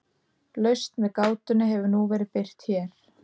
Lausn við gátunni hefur nú verið birt hér.